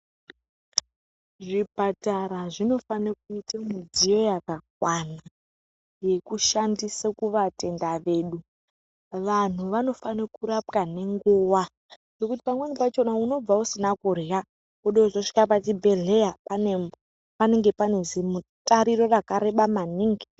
Zvipatara zvinofane kuita mudziyo yakakwana yekushandisa kuvatenda vedu. Vantu vanofane kurapwa nenguva nekuti pamweni pachona unobva usina kurya. Vode kuzosvika pachibhedhleya panenge pane zvimutariro rakareba maningi.